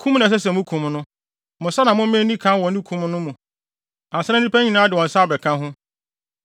Kum na ɛsɛ sɛ mukum no. Mo nsa na momma enni kan wɔ ne kum no mu ansa na nnipa nyinaa de wɔn nsa abɛka ho.